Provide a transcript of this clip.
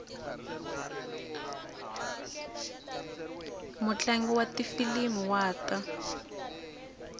mutlangi wa tifilimi wa ta